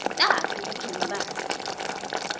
tati kutsi ungubani